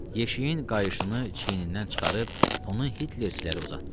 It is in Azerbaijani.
Yeşiyin qayışını çiynindən çıxarıb onu Hitlerçilərə uzatdı.